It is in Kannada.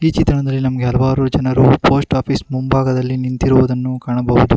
ಈ ಚಿತ್ರಣದಲ್ಲಿ ನಮಗೆ ಹಲವಾರು ಜನರು ಪೋಸ್ಟ್ ಆಫೀಸ್ ಮುಂಭಾಗದಲ್ಲಿ ನಿಂತಿರುವುದನ್ನು ಕಾಣಬಹುದು.